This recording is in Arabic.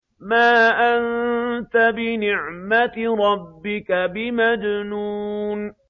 مَا أَنتَ بِنِعْمَةِ رَبِّكَ بِمَجْنُونٍ